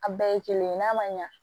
A bɛɛ ye kelen n'a ma ɲa